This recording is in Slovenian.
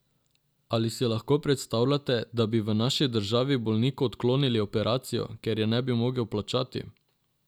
Ali si lahko predstavljate, da bi v naši državi bolniku odklonili operacijo, ker je ne bi mogel plačati?